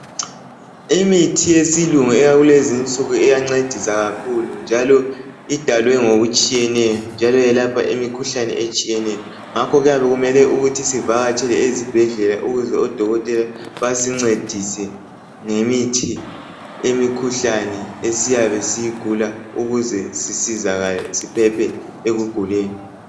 Imithi yesilungu eyakulezinsuku iyancedisa kakhulu .Njalo idalwe ngokutshiyeneyo njalo yelapha imikhuhlane etshiyeneyo .Ngakho kuyabe kumele ukuthi sivakatshele ezibhedlela . Ukuze odokotela basincedise ngemithi yemikhuhlane esiyabe siyigula ukuze sisizakale siphephe ekuguleni .